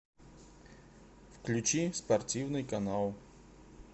включи спортивный канал